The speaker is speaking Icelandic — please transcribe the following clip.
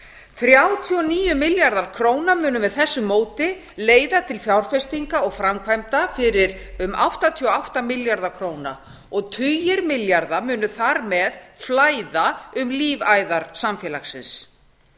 þrjátíu og níu milljarðar króna munu með þessu móti leiða til fjárfestinga og framkvæmda fyrir um áttatíu og átta milljarða króna og tugir milljarða munu þar með flæða um lífæðar samfélagsins